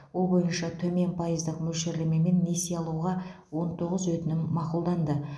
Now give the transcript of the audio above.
ол бойынша төмен пайыздық мөлшерлемемен несие алуға он тоғыз өтінім мақұлданды